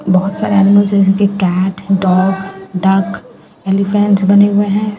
बहुत सारे एनिमल्स हैं जिनके कैट डॉग डक एलीफेंट बने हुए है।